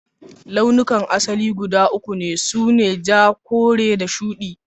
Laulukan asali guda uku sune; ja, kore da shudi